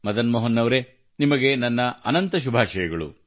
ಮದನ್ ಮೋಹನ್ ಅವರೇ ನಿಮಗೆ ನನ್ನ ಅನಂತ ಶುಭಾಶಯಗಳು